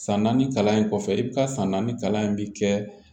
San naani kalan in kɔfɛ i bɛ taa san naani kalan in bɛ kɛ